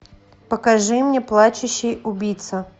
покажи мне плачущий убийца